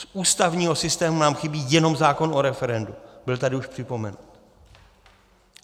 Z ústavního systému nám chybí jenom zákon o referendu, byl tady už připomenut.